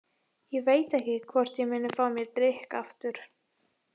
Ég veit ekki hvort ég muni fá mér drykk aftur.